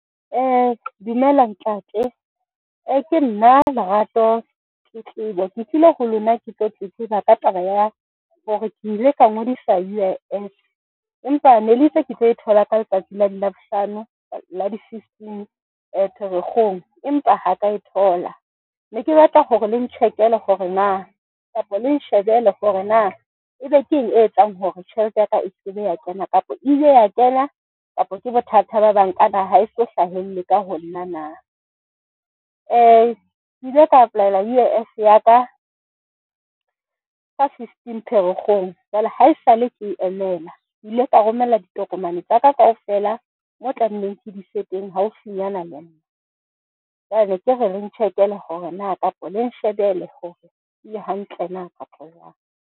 Dumela ntate, ke nna Lerato Tletlebo, ke tlile ho lona, ke tlo tletleba ka taba ya hore ke ile ka ngodisa U_I_F. Empa ne le itse ke tlo e thola ka letsatsi la Labohlano la di fifteen-i Pherekgong, empa ha ka e thola. Ne ke batla gore leng check-ele gore na kapa leng shebele gore na ebe ke eng e etsang hore tjhelete ya ka e se be ya kena kapa ile ya kena, kapa ke bothata ba bank-a ha e so hlahelle ka ho nna na? ke ile ka apply-ela U_I_F ya ka ka fifteen Pherekgong. Jwale ha esale ke emela ke ile ka romela ditokomane tsa ka kaofela. Moo ke tlameileng ke di ise teng haufinyana le nna. Jwale ne ke re leng check-ele gore na kapa leng shebele gore le hantle na kapa jwang.